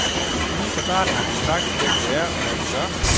Lige fra starten har vi jo sagt, hvem vi er, og hvad vi gør.